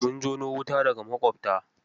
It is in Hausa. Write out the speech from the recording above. Mun jono wuta daga maƙwabta.